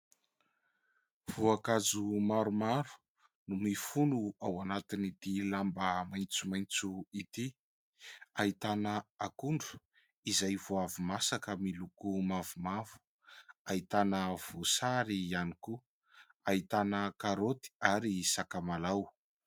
Voankazo maromaro no mifono ao anatiny ity lamba maitsomaitso ity : ahitana akondro izay vao avy masaka miloko mavomavo, ahitana voasary ihany koa, ahitana karôty ary sakamalaho.